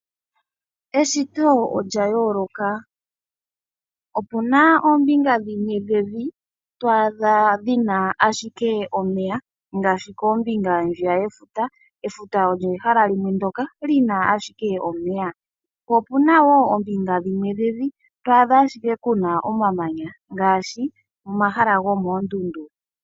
Eshito olya yooloka. Opuna oombinga dhimwe dhevi, twaadha dhina ashike omeya ngaashi koombinga ndjiya yefuta. Efuta olyo ehala limwe ndyoka lina ashike omey. Po opuna woo oombinga dhimwe dhevi twaadha ashike kuna omamanya ngaashi omahala gomoondundu.